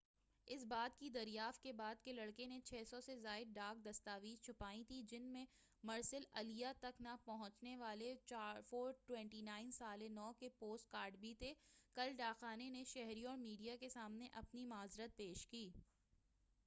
اس بات کی دریافت کے بعد کہ لڑکے نے 600 سے زائد ڈاک دستاویزچھپائی تھی جن میں مرسل الیہ تک نہ پہنچنے والے 429 سال نو کے پوسٹ کارڈ بھی تھے کل ڈاکخانے نے شہریوں اور میڈیا کے سامنے اپنی معذرت پیش کی